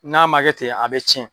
N'a ma kɛ ten a bɛ tiɲɛ.